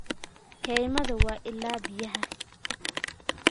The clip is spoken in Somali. Kaymaha waa ilaha biyaha.